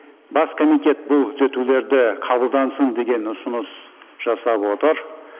бас комитет бұл түзетулерді қабылдансын деген ұсыныс жасап отыр